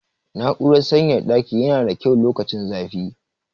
Na'urar sanyaya ɗaki yana da kyau lokacin zafi.